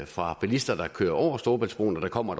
fra bilister der kører over storebæltsbroen og der kommer